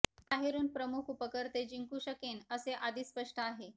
हे बाहेरुन प्रमुख वापरकर्ते जिंकू शकेन असे आधीच स्पष्ट आहे